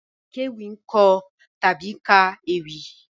Àkéwì ń kọ tàbí ka ewì